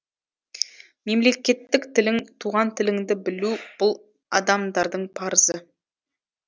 мемлекеттік тілің туған тіліңді білу бұл адамдардың парызы